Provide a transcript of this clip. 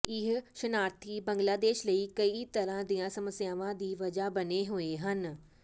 ਇਹ ਸ਼ਰਨਾਰਥੀ ਬੰਗਲਾਦੇਸ਼ ਲਈ ਕਈ ਤਰ੍ਹਾਂ ਦੀਆਂ ਸਮੱਸਿਆਵਾਂ ਦੀ ਵਜ੍ਹਾ ਬਣੇ ਹੋਏ ਹਨ